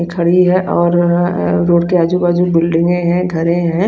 खड़ी है और रोड के आजू बाजू बिल्डिंग है घर है।